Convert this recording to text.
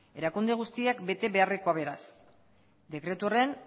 erakunde guztiek bete beharrekoa beraz dekretu horren